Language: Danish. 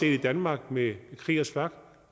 i danmark med kriegers flak